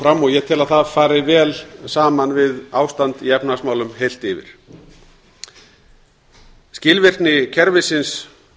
fram og ég tel að það fari vel saman við ástand í efnahagsmálum heilt yfir skilvirkni kerfisins